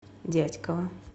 дятьково